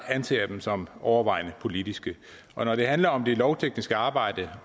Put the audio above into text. anser jeg dem som overvejende politiske når det handler om det lovtekniske arbejde